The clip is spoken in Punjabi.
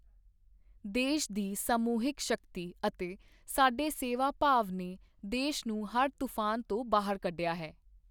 ਦੇਸ਼ ਦੀ ਸਮੂਹਿਕ ਸ਼ਕਤੀ ਅਤੇ ਸਾਡੇ ਸੇਵਾ ਭਾਵ ਨੇ ਦੇਸ਼ ਨੂੰ ਹਰ ਤੂਫ਼ਾਨ ਚੋਂ ਬਾਹਰ ਕੱਢਿਆ ਹੈ।